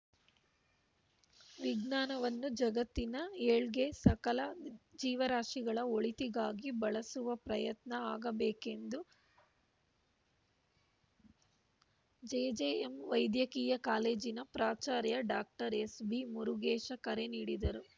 ವಿಜ್ಞಾನವನ್ನು ಜಗತ್ತಿನ ಏಳ್ಗೆ ಸಕಲ ಜೀವರಾಶಿಗಳ ಒಳಿತಿಗಾಗಿ ಬಳಸುವ ಪ್ರಯತ್ನ ಆಗಬೇಕೆಂದು ಜೆಜೆಎಂ ವೈದ್ಯಕೀಯ ಕಾಲೇಜಿನ ಪ್ರಾಚಾರ್ಯ ಡಾಕ್ಟರ್ ಎಸ್‌ಬಿಮುರುಗೇಶ ಕರೆ ನೀಡಿದರು